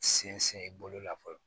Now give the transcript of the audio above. Sinsin bolo la fɔlɔ